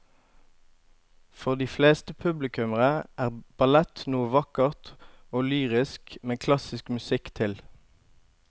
For de fleste publikummere er ballett noe vakkert og lyrisk med klassisk musikk til.